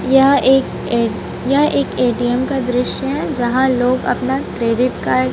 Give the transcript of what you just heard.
यह एक ए यह एक ए_टी_एम का दृश्य है यहां लोग अपना क्रेडिट कार्ड --